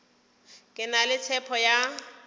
ke na le tshepo ya